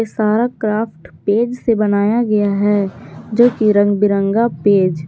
सारा craft page से बनाया गया है जो की रंग बिरंगा पेज --